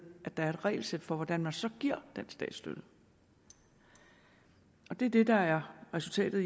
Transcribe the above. at der er et regelsæt for hvordan man så giver den statsstøtte det er det der er resultatet